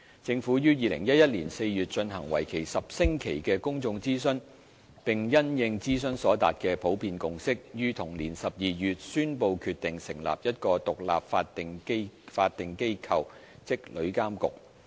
政府於2011年4月進行為期10星期的公眾諮詢，並因應諮詢所達的普遍共識，於同年12月宣布決定成立一個獨立法定機構。